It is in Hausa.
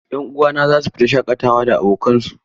'Yan uwana za su fita shaƙatawa da abokansu.